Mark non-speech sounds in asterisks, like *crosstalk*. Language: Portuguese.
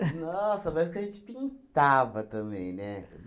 *laughs* Nossa, mas que a gente pintava também, né?